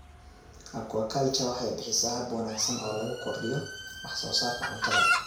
Aquaculture waxay bixisaa hab wanaagsan oo lagu kordhiyo wax soo saarka cuntada.